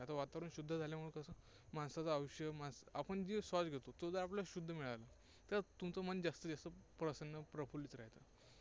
आता वातावरण शुद्ध झाल्यामुळे कसं माणसाचं आयुष्य, आपण जो श्वास घेतो, तो जर आपल्याला शुद्ध मिळाला, तर तुमचं मन जास्तीत जास्त प्रसन्न, प्रफुल्लीत राहतं.